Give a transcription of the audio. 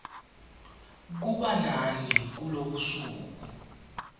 kuba nani kulobusuku